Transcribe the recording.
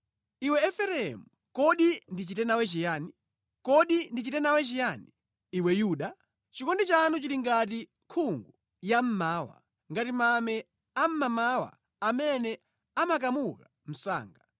Iwe Efereimu, kodi ndichite nawe chiyani? Kodi ndichite nawe chiyani, iwe Yuda? Chikondi chanu chili ngati nkhungu yammawa, ngati mame a mmamawa amene amakamuka msanga.